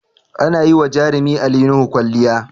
Ana yi wa jarumi Ali Nuhu kwalliya